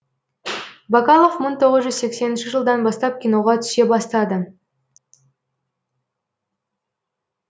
бакалов мың тоғыз жүз сексенінші жылдан бастап киноға түсе бастады